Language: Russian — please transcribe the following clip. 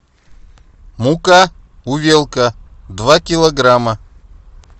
мука увелка два килограмма